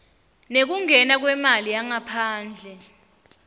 nekungena kwemali yangaphandle